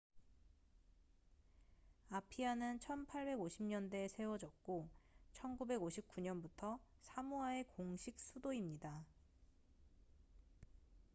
아피아는 1850년대에 세워졌고 1959년부터 사모아의 공식 수도입니다